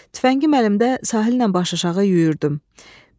Tüfəngi əlimdə sahillə başıaşağı yüyürdüm.